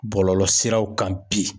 Bɔlɔlɔ siraw kan bi.